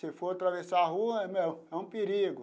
Se for atravessar a rua, né é um perigo.